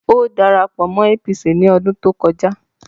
Ó dara pọ̀ mọ́ APC ní ọdún tó kọjá